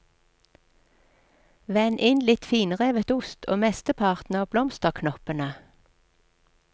Vend inn litt finrevet ost og mesteparten av blomsterknoppene.